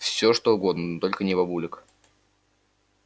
всё что угодно но только не бабулек